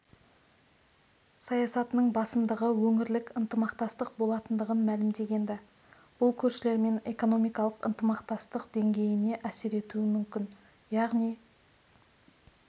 саясатының басымдығы өңірлік ынтымақтастық болатындығын мәлімдеген-ді бұл көршілермен экономикалық ынтымақтастық деңгейіне әсер етуі мүмкін яғни